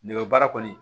Nɛgɛ baara kɔni